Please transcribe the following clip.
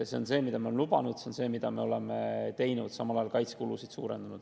See on see, mida me oleme lubanud, see on see, mida me oleme teinud, samal ajal oleme kaitsekulusid suurendanud.